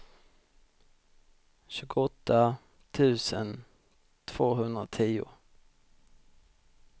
tjugoåtta tusen tvåhundratio